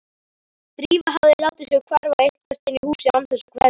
Drífa hafði látið sig hverfa eitthvert inn í húsið án þess að kveðja.